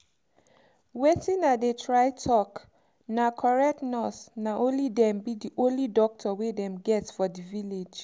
wetin i dey try talkna correct nurse na only dem be the only doctor wey dem get for the village.